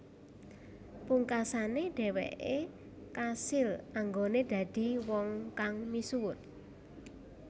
Pungkasane dheweke kasil anggone dadi wong kang misuwur